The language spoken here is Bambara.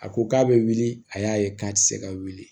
A ko k'a bɛ wuli a y'a ye k'a tɛ se ka wuli